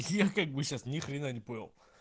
ни хрена не понял